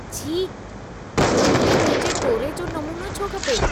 छी! तव्हां खे मुंहिंजे टोरे जो नमूनो छो खपे?